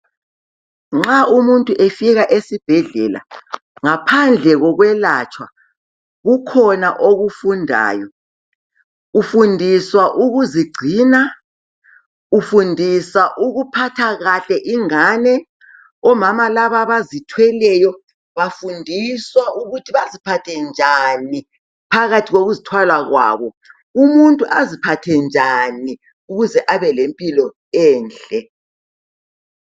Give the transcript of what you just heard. Nxa umuntu efika esibhendlela ngaphandle kokwelatshwa kukhona okufundayo ufundiswa ukuzigcina ufundisa ukuphatha kahle ingane omama laba bazithweleyo bafundiswa ukuthi baziphathe njani phakathi kokuzithwala kwabo umuntu aziphathe njani ukuze abalempilo enhle.